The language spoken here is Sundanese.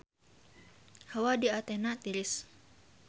Hawa di Athena tiris